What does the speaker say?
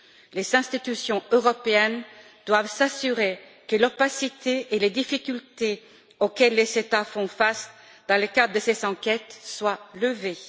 Les institutions européennes doivent s'assurer que l'opacité et les difficultés auxquelles les États font face dans le cadre de ces enquêtes soient levées.